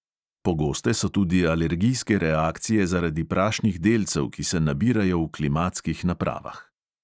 Pogoste so tudi alergijske reakcije zaradi prašnih delcev, ki se nabirajo v klimatskih napravah.